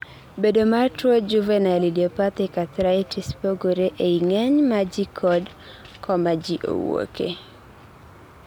bedo mar tuo juvenile idiopathic arthritis pogore ei ng'eny ma ji kod koma ji owuoke